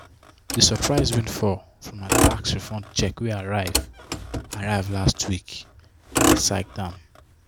d surprise windfall from her tax refund check wey arrive arrive last week excite am.